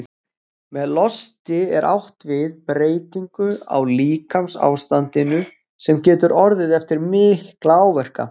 Með losti er átt við breytingu á líkamsástandinu, sem getur orðið eftir mikla áverka.